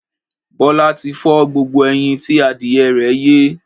Bọ́lá ti fọ́ gbogbo ẹyin tí adìyẹ rẹ̀ yé.